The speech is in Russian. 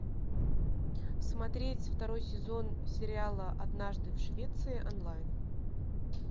смотреть второй сезон сериала однажды в швеции онлайн